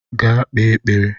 Gaa kpee ekpere!